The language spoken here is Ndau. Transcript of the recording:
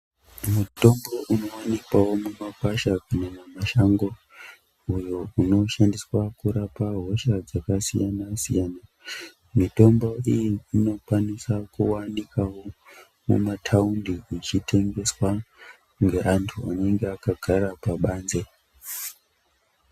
Mutombo unoonekawo mumagwasha mumwe mumashango uyo unoshandiswa hosha dzakasiyana siyana mutombo iyi inokwanisawo kuwanika mumataundi uchitengeswawo ngevandu vanenge vakagara pabanze